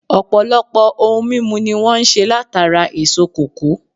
Ọ̀pọ̀lọpọ̀ ohun mímu ni wọ́n ń se látara èso kòkó